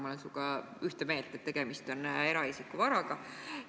Ma olen sinuga ühte meelt, et tegemist on eraisiku varaga.